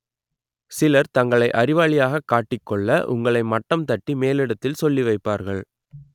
சிலர் தங்களை அறிவாளியாக காட்டிக் கொள்ள உங்களை மட்டம் தட்டி மேலிடத்தில் சொல்லி வைப்பார்கள்